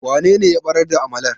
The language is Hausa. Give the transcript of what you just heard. wanene ya barar da amalar?